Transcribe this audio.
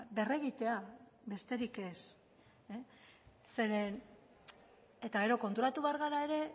berregitea besterik ez gero konturatu behar gara ere